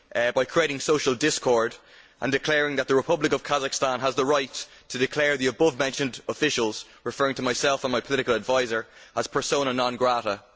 by creating social discord and declaring that the Republic of Kazakhstan has the right to declare the abovementioned officials' referring to myself and my political adviser as persona non grata'.